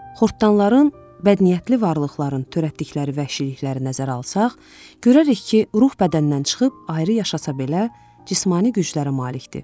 Xortdanların, bədniyyətli varlıqların törətdikləri vəhşilikləri nəzərə alsaq, görərik ki, ruh bədəndən çıxıb ayrı yaşasa belə, cismani güclərə malikdir.